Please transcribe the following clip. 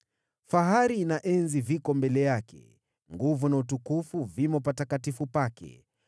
Fahari na enzi viko mbele yake; nguvu na utukufu vimo patakatifu pake.